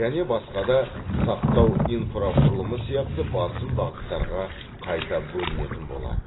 және басқа да сақтау инфрақұрылымы сияқты басым бағыттарға қайта бөлінетін болады